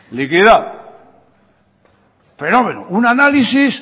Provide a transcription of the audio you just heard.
liquidado fenómeno un análisis